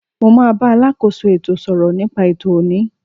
Mo ma bá alákóso ètò sọ̀rọ̀ nípa ètò ọ̀ní.